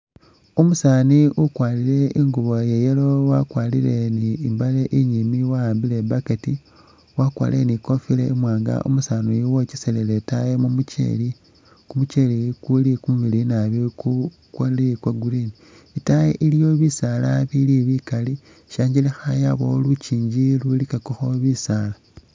Umusani ukwarile ingubo ya'yellow wakwarile ni mbale inyiimbi wa'ambile ni bucket, wakwarile ni kofila iwanga umusaniyu wokeselele itaayi mumucheli, kumucheli kuli kumumiliyu naabi ku kuli kwa'green, itaayi iliyo bisaala bili bikaali shangelekha yabawo lunkyinji lulikakakho bisaala